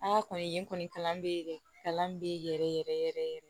An ka kɔni kalan be yɛrɛ kalan be yɛrɛ yɛrɛ yɛrɛ yɛrɛ yɛrɛ yɛrɛ